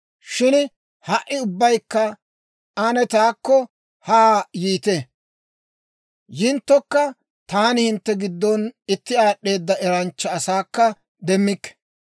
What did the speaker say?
Shin ha"i ubbaykka ane taakko haa yiite! Yinttokka, taani hintte giddon itti aad'd'eeda eranchcha asaakka demmikke.